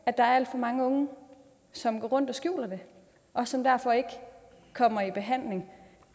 at der er alt for mange unge som går rundt og skjuler det og som derfor ikke kommer i behandling